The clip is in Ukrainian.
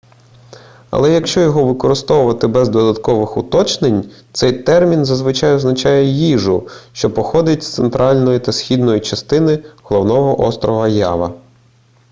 але якщо його використовувати без додаткових уточнень цей термін зазвичай означає їжу що походить з центральної та східної частин головного острова ява